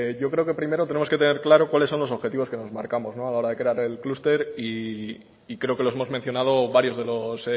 yo creo que primero tenemos que tener claro cuáles son los objetivos que nos marcamos a la hora de crear el clúster y creo que los hemos mencionado varios de los